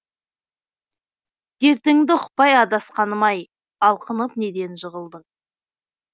дертіңді ұқпай адасқаным ай алқынып неден жығылдың